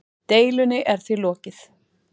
Deilunni er því lokið.